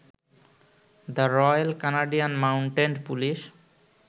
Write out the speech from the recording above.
the royal Canadian mounted police